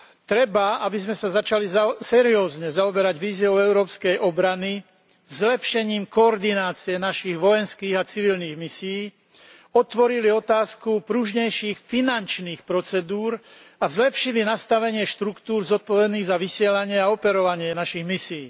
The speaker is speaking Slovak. Treba, aby sme sa začali seriózne zaoberať víziou európskej obrany zlepšením koordinácie našich vojenských a civilných misií, otvorili otázku pružnejších finančných procedúr a zlepšili nastavenie štruktúr zodpovedných za vysielanie a operovanie našich misií.